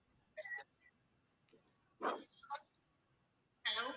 hello